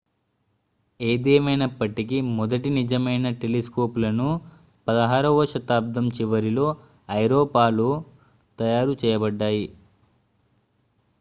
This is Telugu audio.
ఏదేమైనప్పటికీ మొదటి నిజమైన టెలిస్కోపులను 16వ శతాబ్దం చివరిలో ఐరోపాలో తయారు చేయబడ్డాయి